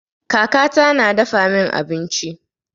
Kaka ta na dafa min abinci.